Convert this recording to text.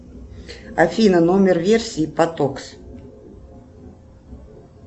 афина номер версии потокс